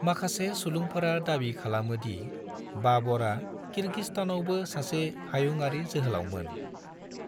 माखासे सुलुंफोरा दाबि खालामोदि बाबरआ किर्गिस्तानावबो सासे हायुंआरि जोहोलावमोन।